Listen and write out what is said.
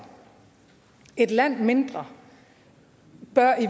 et land mindre bør